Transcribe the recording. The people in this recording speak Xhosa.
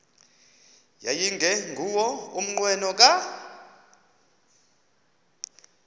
yayingenguwo umnqweno kadr